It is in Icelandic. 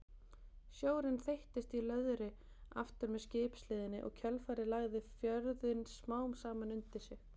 Sjórinn þeyttist í löðri aftur með skipshliðinni og kjölfarið lagði fjörðinn smám saman undir sig.